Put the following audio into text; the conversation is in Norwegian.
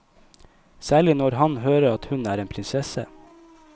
Særlig når han hører at hun er en prinsesse.